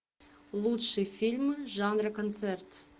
лучшие фильмы жанра концерт